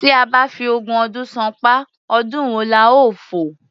Tí a bá fi ogún ọdún ṣánpá, ọdún wo la ó fò?